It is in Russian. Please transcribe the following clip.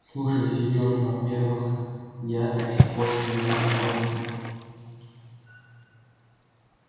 слушай серёж во-первых я до сих пор стою на пороге